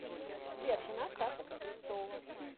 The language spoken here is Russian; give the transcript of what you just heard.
сбер жена стаса кузнецова